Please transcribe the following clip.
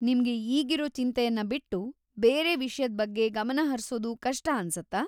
ನಿಮ್ಗೆ ಈಗಿರೋ ಚಿಂತೆಯನ್ನ ಬಿಟ್ಟು ಬೇರೆ ವಿಷ್ಯದ್ ಬಗ್ಗೆ ಗಮನಹರ್ಸೋದು ಕಷ್ಟ ಅನ್ಸತ್ತಾ?